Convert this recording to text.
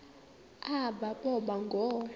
aba boba ngoo